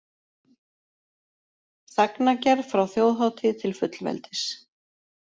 Sagnagerð frá þjóðhátíð til fullveldis